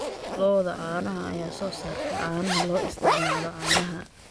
Lo'da caanaha ayaa soo saarta caanaha loo isticmaalo caanaha.